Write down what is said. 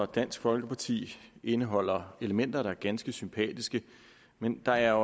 dansk folkeparti indeholder elementer der er ganske sympatiske men der er